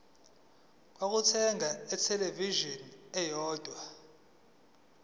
lokuthenga ithelevishini eyodwa